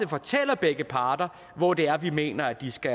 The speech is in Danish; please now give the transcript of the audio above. fortæller begge parter hvor det er vi mener at de skal